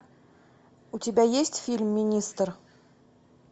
у тебя есть фильм министр